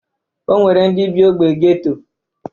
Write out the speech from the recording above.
O nwere ndị bị ogbe geto.